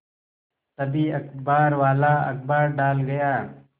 तभी अखबारवाला अखबार डाल गया